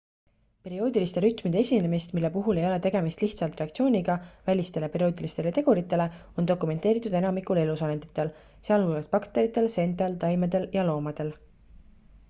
perioodiliste rütmide esinemist mille puhul ei ole tegemist lihtsalt reaktsiooniga välistele perioodilistele teguritele on dokumenteeritud enamikul elusolenditel sealhulgas bakteritel seentel taimedel ja loomadel